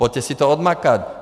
Pojďte si to odmakat!